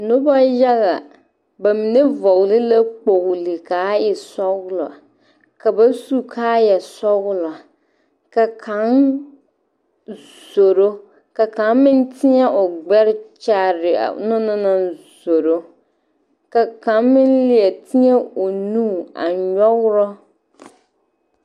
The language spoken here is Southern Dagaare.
Noba yaga ba mine vɔgle la kpogli k,a e sɔglɔ ka ba su kaayasɔglɔ ka kaŋ zoro ka kaŋ meŋ teɛŋ o gbɛre kyaare a o na naŋ zoro ka kaŋ meŋ leɛ teɛŋ o nu a nyɔgrɔ.